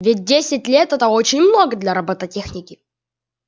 ведь десять лет это очень много для роботехники